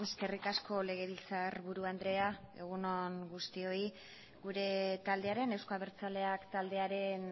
eskerrik asko legebiltzarburu andrea egun on guztioi gure taldearen euzko abertzaleak taldearen